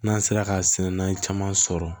N'an sera ka sɛnna caman sɔrɔ